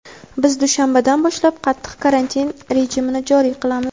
biz dushanbadan boshlab qattiq karantin rejimini joriy qilamiz.